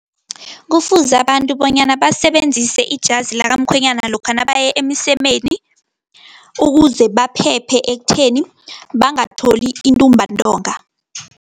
Kufuze abantu bonyana basebenzise ijasi lakamkhwenyana lokha nabaya emsemeni, ukuze baphephe ekutheni, bangatholi intumbantonga.